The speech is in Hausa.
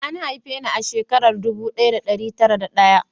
An haife ni a shekara ɗubu ɗaya da ɗari tara da ɗaya